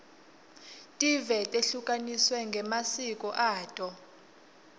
tive tehlukaniswe ngemasiko ato